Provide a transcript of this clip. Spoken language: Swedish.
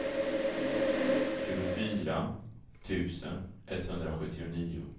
tjugofyra tusen etthundrasjuttionio